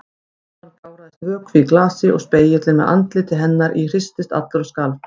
Áðan gáraðist vökvi í glasi og spegillinn með andliti hennar í hristist allur og skalf.